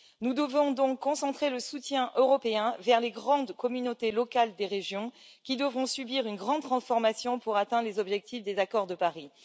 Nous devons donc concentrer le soutien européen vers les grandes communautés locales des régions qui devront subir une grande transformation pour atteindre les objectifs des accords de Paris.